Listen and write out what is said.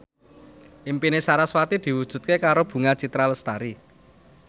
impine sarasvati diwujudke karo Bunga Citra Lestari